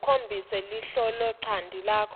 ukhombise liholonchanti lakho